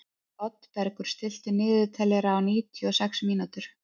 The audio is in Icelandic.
Oddbergur, stilltu niðurteljara á níutíu og sex mínútur.